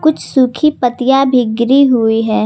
कुछ सूखीं पत्तियां भी गिरी हुई है।